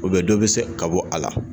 dɔ bɛ se ka bɔ a la